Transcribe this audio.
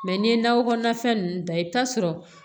n'i ye nakɔ kɔnɔna fɛn ninnu dan i bɛ taa sɔrɔ